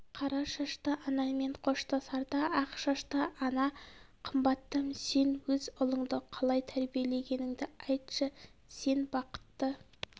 қара шашты анамен қоштасарда ақ шашты ана қымбаттым сен өз ұлыңды қалай тәрбиелегеніңді айтшы сен бақытты